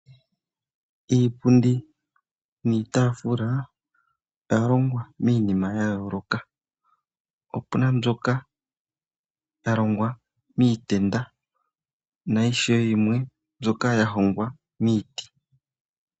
Iipundi niitaafula oyalongwa miinima yayooloka opuna mbyoka yalongwa miitenda nayimwe ndyoka yahongwa miiti.